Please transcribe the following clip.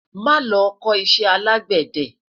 má lo kò iṣẹ alegbede